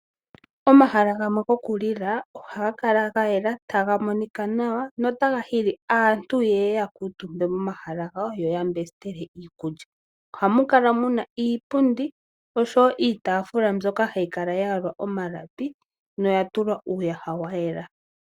Omahala gamwe gokulila ohaga kala gayela taga monika nawa, notaga hili aantu yeye yakuutumbe mo momahala gawo yoyapule iikulya. Ohamu kala muna iipundi osho wo iitaafula mbyoka hayi kala yayalwa omalapi noya tulwa uuyaha wayela.